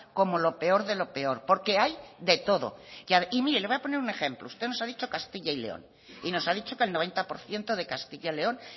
como lo peor de lo peor porque hay de todo y mire le voy a poner un ejemplo usted nos ha dicho castilla y león y nos ha dicho que el noventa por ciento de castilla y león